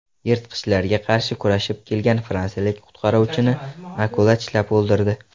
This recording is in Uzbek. Yirtqichlarga qarshi kurashib kelgan fransiyalik qutqaruvchini akula tishlab o‘ldirdi.